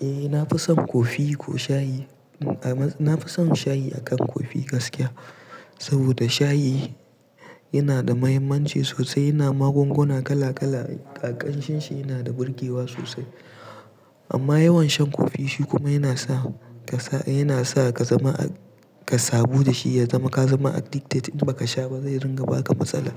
Eh na fi son kofi ko shayi. Na fi son shayi akan kofi gaskiya. Saboda shayi yana da mahimmanci sosai, yana magunguna kala kala, ƙan shin shi yana da birgewa sosai. Amma yawan shan kofi shi kuma yana sa ka sa, yana sa ka zama, ka sabu da shi ya zama ka zama addicted in ba ka sha ba zai ringa baka matsala.